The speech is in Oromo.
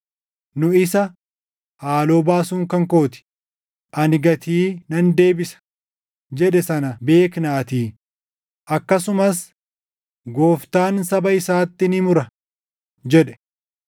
Nu isa, “Haaloo baasuun kan koo ti; ani gatii nan deebisa” + 10:30 \+xt KeD 32:35\+xt* jedhe sana beeknaatii; akkasumas, “Gooftaan saba isaatti ni mura” + 10:30 \+xt KeD 32:36; Far 135:14\+xt* jedhe.